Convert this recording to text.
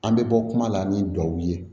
An bɛ bɔ kuma la ni duwawu ye